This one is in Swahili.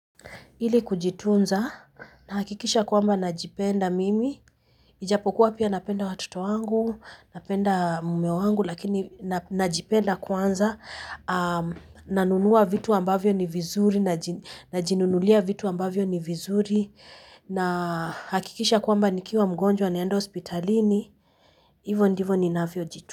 Ili kujitunza, nahakikisha kwamba najipenda mimi, ijapokuwa pia napenda watoto wangu, napenda mume wangu, lakini najipenda kwanza. Nanunua vitu ambavyo ni vizuri, najinunulia vitu ambavyo ni vizuri, na nahakikisha kwamba nikiwa mgonjwa naenda hospitalini, hivyo ndivyo ninavyojitunza.